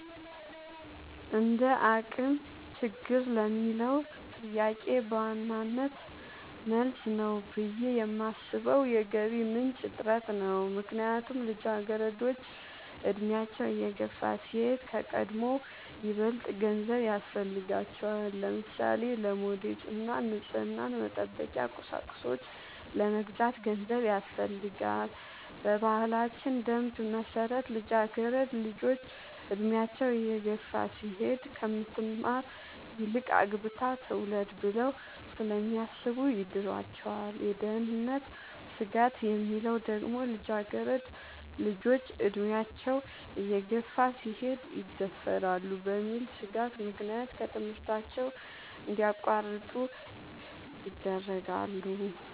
እንደአቅም ችግር ለሚለው ጥያቄ በዋናነት መልስ ነው ብሌ የማሥበው የገቢ ምንጭ እጥረት ነው። ምክንያቱም ልጃገረዶች አድሚያቸው እየገፋ ሲሄድ ከቀድሞው ይበልጥ ገንዘብ ያሥፈልጋቸዋል። ለምሳሌ:-ለሞዴስ እና ንፅህናን መጠበቂያ ቁሳቁሶች ለመግዛት ገንዘብ ያሥፈልጋል። በባህላችን ደንብ መሠረት ልጃገረድ ልጆች እድሚያቸው እየገፋ ሲሄድ ከምትማር ይልቅ አግብታ ትውለድ ብለው ስለሚያሥቡ ይድሯቸዋል። የደህንነት ስጋት የሚለው ደግሞ ልጃገረድ ልጆች አድሚያቸው እየገፋ ሲሄድ ይደፈራሉ በሚል ሥጋት ምክንያት ከትምህርታቸው እንዲያቋርጡ ይደረጋሉ።